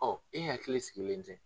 Ɔ e hakili sigilen tɛ